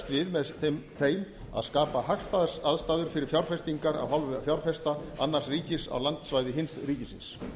við með þeim að skapa sem hagstæðastar aðstæður fyrir fjárfestingar af hálfu fjárfesta annars ríkis á landsvæði hins ríkisins